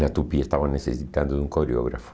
Na Tupi estava necessitando de um coreógrafo.